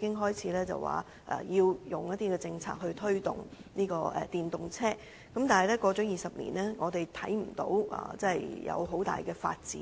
便開始提出政策推動電動車，但20年過去，我們卻看不到有甚麼重大發展。